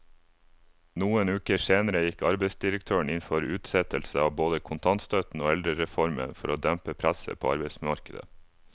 Noen uker senere gikk arbeidsdirektøren inn for utsettelse av både kontantstøtten og eldrereformen for å dempe presset på arbeidsmarkedet.